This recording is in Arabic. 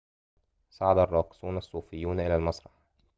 صعد الراقصون الصوفيون إلى المسرح